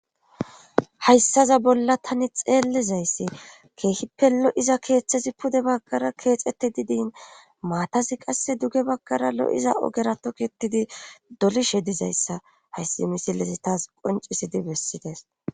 hayssaza bolla tani xeellizayssi keehi pelo7iza keeththesi pude baggara keexeti didin maatasi qasse duge baggara lo7iza ogera toketidi dolishe dizayssa hayssi misilesi taas qoncisidi bessides